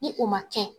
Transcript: Ni o ma kɛ